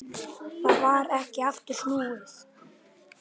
Það varð ekki aftur snúið.